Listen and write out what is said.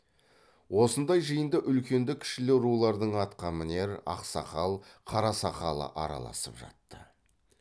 осындай жиында үлкенді кішілі рулардың атқамінер ақсақал қарасақалы араласып жатты